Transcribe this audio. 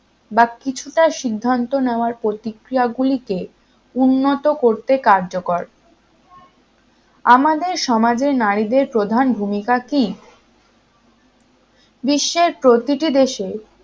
বা কিছুটা সিদ্ধান্ত নেওয়ার প্রতিক্রিয়াগুলিকে উন্নত করতে কার্যকর আমাদের সমাজে নারীদের প্রধান ভূমিকা কি বিশ্বের প্রতিটি দেশে